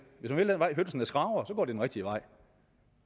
hvis man vil den vej hønsene skraber går det den rigtige vej